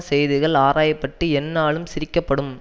செய்திகள் ஆராய பட்டு எந்நாளும் சிரிக்கப்படும்